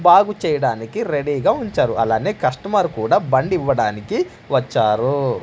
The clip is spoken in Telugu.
బాగు చేయడానికి రెడీగా ఉంచారు అలానే కస్టమర్ కూడా బండి ఇవ్వడానికి వచ్చారు.